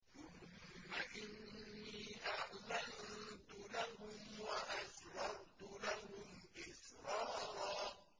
ثُمَّ إِنِّي أَعْلَنتُ لَهُمْ وَأَسْرَرْتُ لَهُمْ إِسْرَارًا